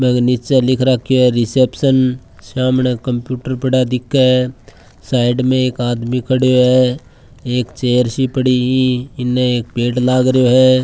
बेंके नीचे लिख राख्यो है रिसेप्शन सामने कंप्यूटर पड़या दिखे साइड में एक आदमी खड़्यो है एक चेयर सी पड़ी ईई इने एक पेड़ लाग रहियो है।